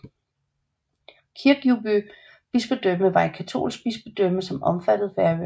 Kirkjubø bispedømme var et katolsk bispedømme som omfattede Færøerne